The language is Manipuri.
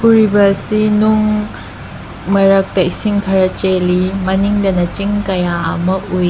ꯎꯔꯤꯕ ꯑꯁꯤ ꯅꯨꯡ ꯃꯔꯛꯇ ꯏꯁꯤꯡ ꯈꯔ ꯆꯦꯜꯂꯤ ꯃꯅꯤꯡꯗꯅ ꯆꯤꯡ ꯀꯌꯥ ꯑꯃ ꯎꯏ꯫